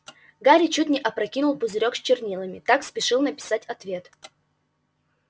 гарри чуть не опрокинул пузырёк с чернилами так спешил написать ответ